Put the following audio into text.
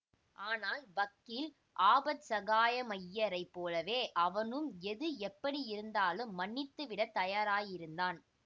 ஆனால் வக்கீல் ஆபத்சகாயமய்யரைப் போலவே அவனும் எது எப்படியிருந்தாலும் மன்னித்துவிடத் தயாராயிருந்தான்